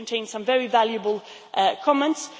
They contain some very valuable comments.